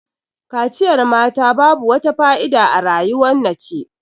Kaciyar mata babu wata fa'ida a rayuwar nace.